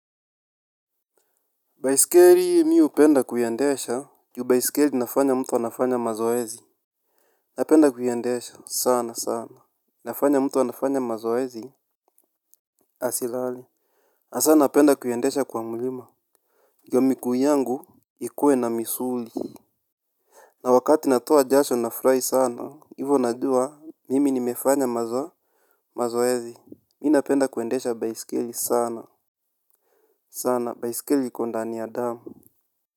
Baisikeli mimi hupenda kuendesha ju baisikeli inafanya mtu anafanya mazoezi. Napenda kuiendesha sana sana, inafanya mtu anafanya mazoezi asilale, hasa napenda kuiendesha kwa mlima. Ndio miguu yangu ikuwe na misuli. Na wakati natoa jasho nafurahi sana hivyo najua mimi nimefanya mazoezi mimi napenda kuendesha baisikeli sana sana baisikeli iko ndani ya damu.